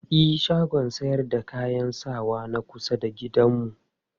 E, shagon sayar da kayan sawan na kusa da gidanmu.